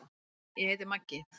Maggi: Ég heiti Maggi.